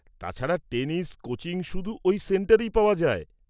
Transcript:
তাছাড়া, tennis coaching শুধু ওই সেন্টারেই পাওয়া যায়।